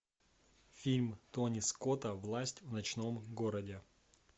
фильм тони скотта власть в ночном городе